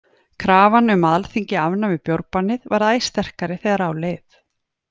Krafan um að Alþingi afnæmi bjórbannið varð æ sterkari þegar á leið.